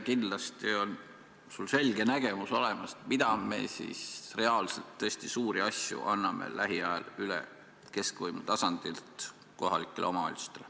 Kindlasti on sul selge nägemus olemas, mis tõesti reaalselt suuri asju me anname lähiajal üle keskvõimu tasandilt kohalikele omavalitsustele.